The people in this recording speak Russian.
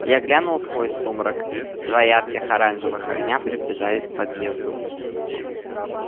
я глянул сквозь сумрак два ярких оранжевых огня приближались к подъезду